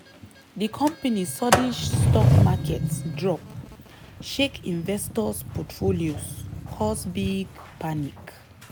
di company sudden stock market drop shake investors' portfolios cause big panic.